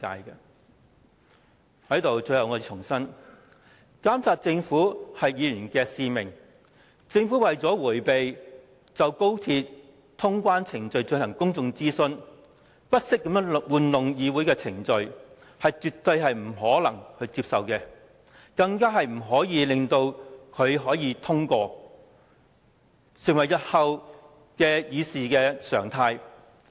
最後我想重申，監督政府是議員的使命，政府為了迴避就高鐵通關程序進行公眾諮詢，不惜操弄議會程序，絕對不能接受，更不應該讓這項休會待續議案通過，以防成為日後的議事常態。